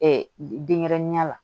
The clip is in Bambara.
denɲɛrɛninya la